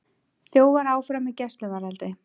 Þjófar áfram í gæsluvarðhaldi